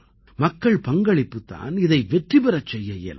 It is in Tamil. மக்கள் பங்களிப்புத் தான் இதை வெற்றி பெறச் செய்ய இயலும்